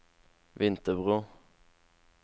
Vinterbro